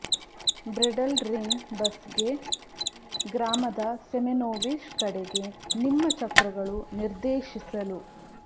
bridal ring bus ಗೆ ಗ್ರಾಮದ Semenovish ಕಡೆಗೆ ನಿಮ್ಮ ಚಕ್ರಗಳು ನಿರ್ದೇಶಿಸಲು